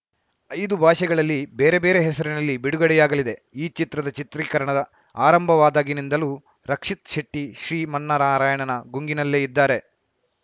ಐದು ಭಾಷೆಗಳಲ್ಲಿ ಬೇರೆ ಬೇರೆ ಹೆಸರಿನಲ್ಲಿ ಬಿಡುಗಡೆಯಾಗಲಿದೆ ಈ ಚಿತ್ರದ ಚಿತ್ರೀಕರಣ ಆರಂಭವಾದಾಗಿನಿಂದಲೂ ರಕ್ಷಿತ್‌ ಶೆಟ್ಟಿಶ್ರೀಮನ್ನಾರಾಯಣನ ಗುಂಗಿನಲ್ಲೇ ಇದ್ದಾರೆ